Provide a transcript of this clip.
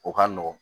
O ka nɔgɔn